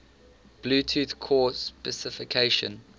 bluetooth core specification